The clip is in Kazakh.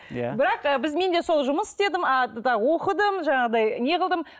иә бірақ біз мен де сол жұмыс істедім оқыдым жаңағыдай неғылдым